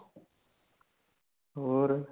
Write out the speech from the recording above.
ਹੋਰ